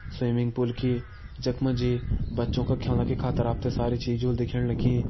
Swimming pool की जख मा जी बच्चों का ख्योलाणा के खातिर आप त सारी चीज़ होली दिखेण रखीं।